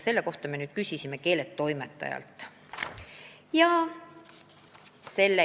Selle kohta me küsisime keeletoimetajalt.